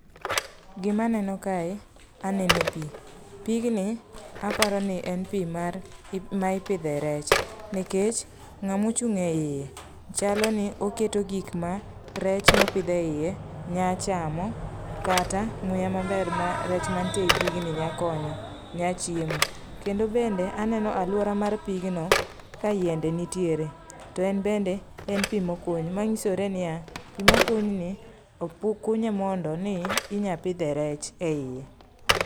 Gima aneno kae aneno pi. Pigni aparo ni en pi mar maipidhe rech. Nikech ng'ama ochung' e iye, chalo ni oketo gik ma rech ma opidh e iye nya chamo kata muya maber ma rech mantie ei pigni nya konyo, nya chiemo. Kende bende aneno alwora mar pigno, ka yiende nitiere. To en bende en pi mokuny. Manyisore niya en pi mokuny. Pi mokunyni okunye mondo inya pidhe rech e iye.